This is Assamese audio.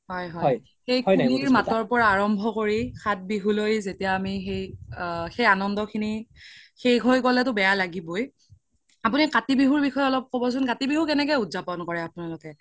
হয় হয় সেই কুলিৰ মাতৰ পৰা আৰাম্ৱ্য কৰি সাত বিহু লৈ যেতিয়া আমি সেই আ সেই আনান্দ খিনি শেষ হৈ গ্'লেটো বেয়া লাগিবৈ আপোনি কাতি বিহুৰ বিষয়ে ক্'বচোন কাতি বিহু কেনেকই উদযাপন কৰে আপোনালোকে ?